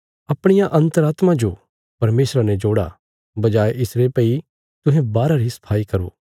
अपणिया अन्तरात्मा जो परमेशरा ने जोड़ा बजाये इसरे भई तुहें बाहरा री सफाई करो